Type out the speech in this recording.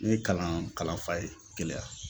Ne ye kalan kalanfa ye Keleya